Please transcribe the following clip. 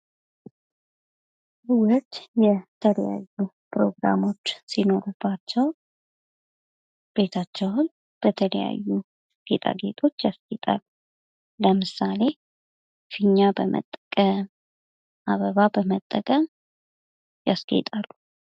ሰዎች የተለያዩ ፕሮግራሞች ሲኖርባቸው ቤታቸውን በጌጣጌጦች ያስጌጣሉ ለምሳሌ ፊኛ በመጠቀም ፥ አበባ በመጠቀም ያስጌጣሉ።